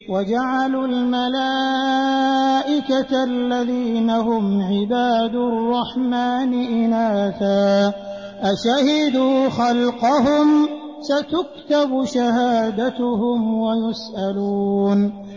وَجَعَلُوا الْمَلَائِكَةَ الَّذِينَ هُمْ عِبَادُ الرَّحْمَٰنِ إِنَاثًا ۚ أَشَهِدُوا خَلْقَهُمْ ۚ سَتُكْتَبُ شَهَادَتُهُمْ وَيُسْأَلُونَ